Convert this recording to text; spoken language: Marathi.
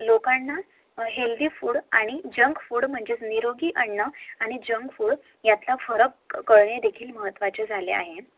लोकांना HEALTHY FOOD आणि JUNK FOOD म्हणजेच निरोगी अन्न आणि झांज फूड यातला महत्व देखील कळण महत्वाचे झालं आहे